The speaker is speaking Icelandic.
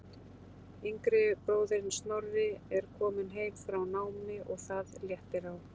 Yngri bróðirinn Snorri er kominn heim frá námi og það léttir á.